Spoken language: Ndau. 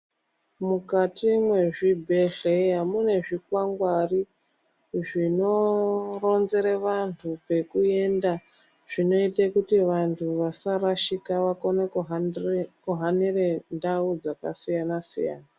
Mukati mwezvibhedhleya mune zvikwangwari zvinoronzere vantu pekuenda, zvinoite kuti vantu vasarashika vakone kuhamire ndau dzakasiyana-siyana.